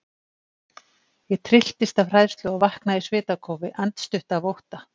Ég trylltist af hræðslu og vaknaði í svitakófi, andstutt af ótta.